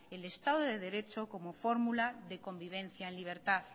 el estado de derecho como fórmula de convivencia en libertad